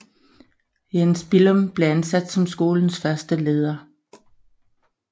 Jens Billum blev ansat som skolens første leder